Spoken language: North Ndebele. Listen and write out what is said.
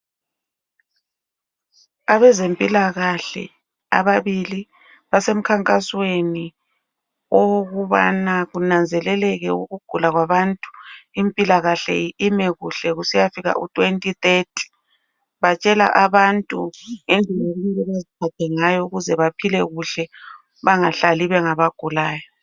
Abezempilakahle ababili basemkhankasweni okubana kunanzeleleke ukugula kwabantu impilakahle ime kuhle kusiyafika u2030 batshela abantu ngendlela okumele beziphathe ngayo ukuze bephile kuhle bengahlali bengabagulayo.